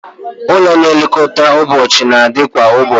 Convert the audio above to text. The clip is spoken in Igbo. Ụlọ nlekọta ụbọchị na-adị kwa ụbọchị